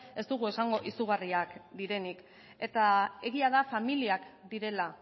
ez dugu esango izugarriak direnik eta egia da familiak direla